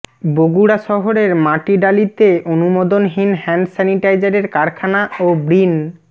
বগুড়া শহরের মাটিডালীতে অনুমোদনহীন হ্যান্ড স্যানিটাইজারের কারখানা ও বৃন্